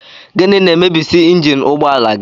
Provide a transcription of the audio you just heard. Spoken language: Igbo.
Gịnị na-emebisị njini ụgbọala gị?